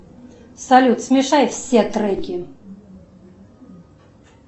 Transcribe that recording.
салют смешай все треки